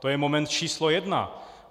To je moment číslo jedna.